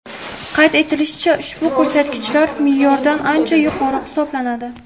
Qayd etilishicha, ushbu ko‘rsatkichlar me’yordan ancha yuqori hisoblanadi.